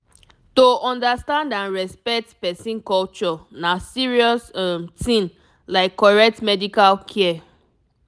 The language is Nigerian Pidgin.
to understand and respect person culture na serious um thing like correct medical care